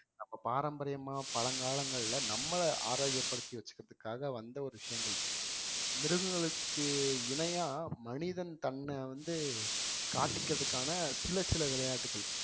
நம்ம பாரம்பரியமா பழங்காலங்கள்ல நம்மளை ஆரோக்கியப்படுத்தி வச்சுக்கிறதுக்காக வந்த ஒரு விஷயங்கள், மிருகங்களுக்கு இணையா மனிதன் தன்னை வந்து காட்டிக்கறதுக்கான சில சில விளையாட்டுகள்